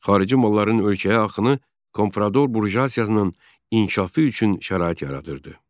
Xarici malların ölkəyə axını komprador burjuaziyasının inkişafı üçün şərait yaradırdı.